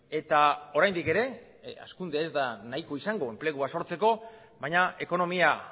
eta oraindik ere hazkundea ez da nahikoa izango enplegua sortzeko baina ekonomia